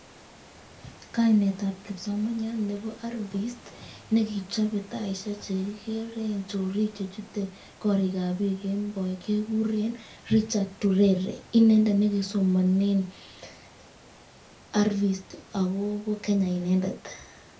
Kainetab kipsomaniat nebo RVIST nekichobe taishek chekikeren chorik chechute korikab biik kemoi kekuren Richard Urere, inendet nekisomonen RVIST ak kobo Kenya inendet.